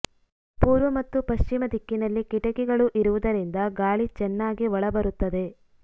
ಪೂರ್ವ ಮತ್ತು ಪಶ್ಚಿಮ ದಿಕ್ಕಿನಲ್ಲಿ ಕಿಟಕಿಗಳು ಇರುವುದರಿಂದ ಗಾಳಿ ಚೆನ್ನಾಗಿ ಒಳ ಬರುತ್ತದೆ